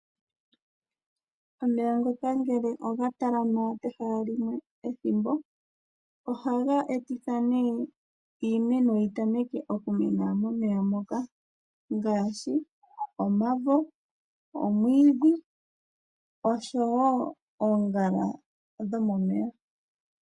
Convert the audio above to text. Omeya ngele oga talama pehala limwe ethimbo ele, iimeno ohayi mene pehala opo tuu mpoka. Oyindji ohayi mene momeya momwene ngaashi omavo, omwiidhi nosho woo oongala ndhoka dhi hole oku mena momeya nenge kooha dhomeya.